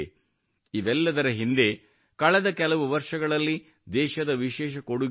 ಇವೆಲ್ಲದರ ಹಿಂದೆ ಕಳೆದ ಕೆಲವು ವರ್ಷಗಳಲ್ಲಿ ದೇಶದ ವಿಶೇಷ ಕೊಡುಗೆಯೂ ಇದೆ